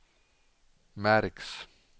märks